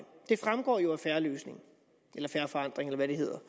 det fremgår jo af en fair løsning eller fair forandring eller hvad det hedder